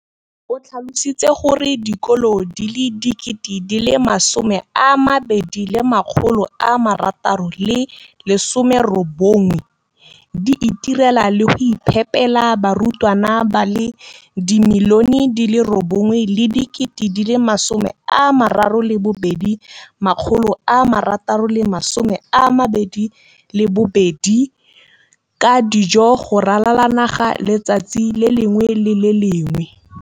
O tlhalositse gore dikolo di le 20 619 di itirela le go iphepela barutwana ba le 9 032 622 ka dijo go ralala naga letsatsi le lengwe le le lengwe.